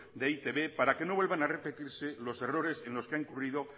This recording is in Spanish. de e i te be para que no vuelvan a repetirse los errores en los que han incurrido